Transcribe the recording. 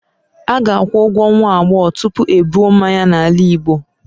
a ga-akwụ ụgwọ nwa agbọghọ tupu ebuo mmanya n'ala igbo